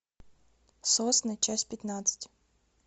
сосны часть пятнадцать